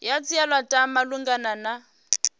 ya dzhielwa ntha malugana na